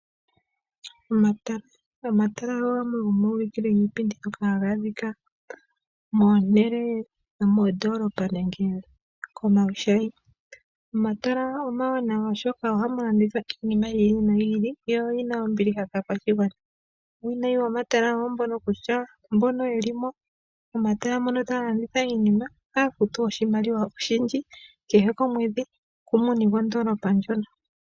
Omatala, Omatala ogo gamwe gomoma ulikilo giipindi ngoka haga adhika moondolopa nenge komawushayi. Omatala oma wanawa oshoka ohamu landithwa yiili noyi ili yo oyina ombiliha kaa kwashigwana. Uuwinayi womatala owo mbono kutya mbono yeli mo momatala mono taya landitha iinima ohaya futu oshimaliwa oshindji kehe komwedhi kumuni gwondolopa ndjono.